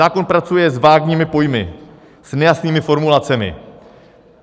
Zákon pracuje s vágními pojmy, s nejasnými formulacemi.